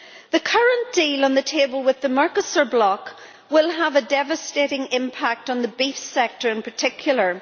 The current deal on the table with the Mercosur bloc will have a devastating impact on the beef sector in particular.